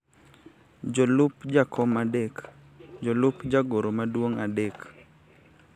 jolup jakom adek, jolup jagoro maduong' adek,